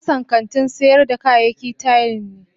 Kasan kantin sayar da kayaki tila ne.